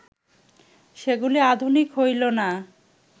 সেগুলি আধুনিক হইল না